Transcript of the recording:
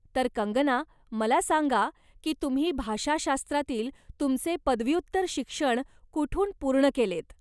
तर कंगना मला सांगा की तुम्ही भाषाशास्त्रातील तुमचे पदव्युत्तर शिक्षण कुठून पूर्ण केलेत?